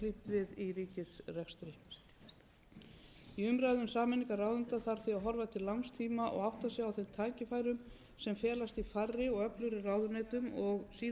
við í ríkisrekstri í umræðum um sameiningar ráðuneyta þarf því að horfa til langs tíma og átta sig á þeim tækifærum sem felast í færri og öflugri ráðuneytum og síðan verkaskiptingu og samvinnu þeirra